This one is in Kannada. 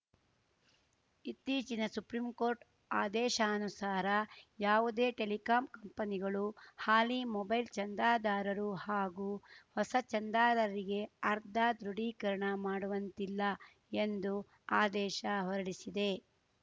ಇತ್ತೀಚಿನ ಸುಪ್ರೀಂಕೋರ್ಟ್‌ ಆದೇಶಾನುಸಾರ ಯಾವುದೇ ಟೆಲಿಕಾಂ ಕಂಪನಿಗಳು ಹಾಲಿ ಮೊಬೈಲ್‌ ಚಂದಾದಾರರು ಹಾಗೂ ಹೊಸ ಚಂದಾದಾರರಿಗೆ ಅರ್ದಾ ದೃಢೀಕರಣ ಮಾಡುವಂತಿಲ್ಲ ಎಂದು ಆದೇಶ ಹೊರಡಿಸಿದೆ